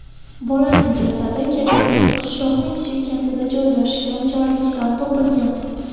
Bolaning jasadi kechqurun qishloqning chekkasida joylashgan jarlikdan topilgan.